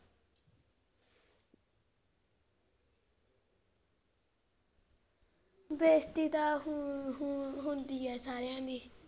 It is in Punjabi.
ਬੇਸਤੀ ਤਾਂ ਹੁਣ ਹੁਣ ਹੁੰਦੀ ਆ ਸਾਰਿਆਂ ਦੀ।